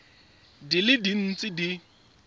di le dintsi tse di